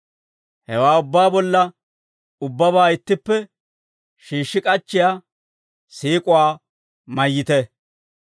Hewaa ubbaa bolla, ubbabaa ittippe shiishshi k'achchiyaa siik'uwaa mayyite.